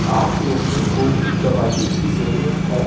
आप लोगों को भी दवाइयों की जरूरत है।